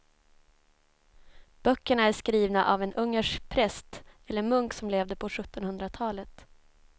Böckerna är skrivna av en ungersk präst eller munk som levde på sjuttonhundratalet.